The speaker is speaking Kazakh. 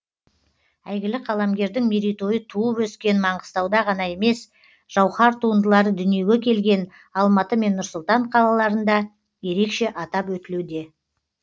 әйгілі қаламгердің мерейтойы туып өскен маңғыстауда ғана емес жауһар туындылары дүниеге келген алматы мен нұр сұлтан қалаларында ерекше атап өтілуде